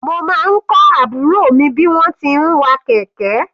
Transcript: Mo máa kọ́ àbúrò mi bí wọ́n ti ń wa kẹ̀kẹ́.